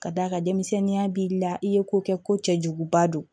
Ka d'a kan denmisɛnninya b'i la i ye ko kɛ ko cɛjuguba don